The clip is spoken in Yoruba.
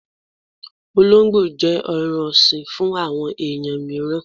Ọlóńgbò jẹ́ ẹran ọ̀sìn fún àwọn ẹ̀yàn míràn.